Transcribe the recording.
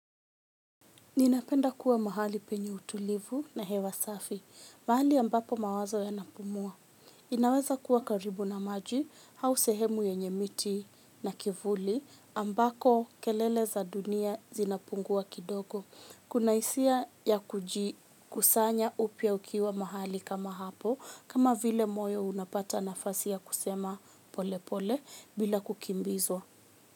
Ninapenda kuwa mahali penye utulivu na hewa safi, mahali ambapo mawazo ya napumua. Inaweza kuwa karibu na maji, hausehemu yenye miti na kivuli, ambako kelele za dunia zinapungua kidogo. Kuna isia ya kujikusanya upia ukiwa mahali kama hapo, kama vile moyo unapata nafasi ya kusema pole pole bila kukimbizwa.